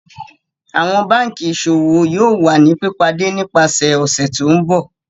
Awọn banki Iṣowo yoo wa ni pipade nipasẹ ọsẹ ti n bọ.